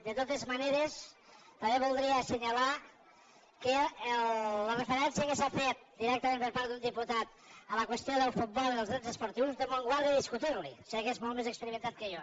de totes maneres també voldria assenyalar que la referència que s’ha fet directament per part d’un diputat a la qüestió del futbol i dels drets esportius déu me’n guard de discutir la hi sé que és molt més experimentat que jo